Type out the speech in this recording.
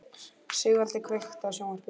Sigvaldi, kveiktu á sjónvarpinu.